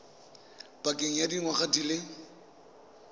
pakeng ya dingwaga di le